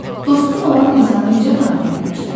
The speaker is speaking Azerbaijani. Dostun olan insanı necə tanıya bilərsən?